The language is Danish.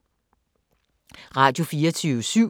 Radio24syv